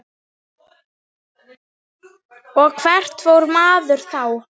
Þegar neðar dregur breikka þær.